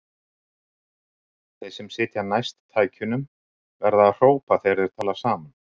Þeir sem sitja næst tækjunum verða að hrópa þegar þeir tala saman.